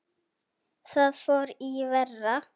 Þar fór í verra.